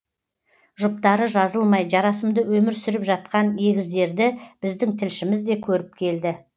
жұптары жазылмай жарасымды өмір сүріп жатқан егіздерді біздің тілшіміз де көріп келді